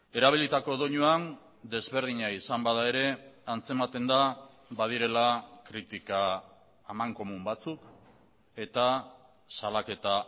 erabilitako doinuan desberdina izan bada ere antzematen da badirela kritika amankomun batzuk eta salaketa